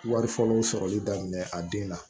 Wari fɔlɔ sɔrɔli daminɛ a den na